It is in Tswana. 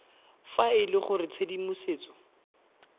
fa e le gore tshedimosetso